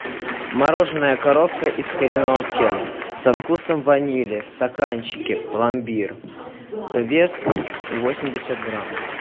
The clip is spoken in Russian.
мороженое коровка из кореновки со вкусом ванили в стаканчике пломбир вес восемьдесят грамм